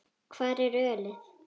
Hvar er ölið?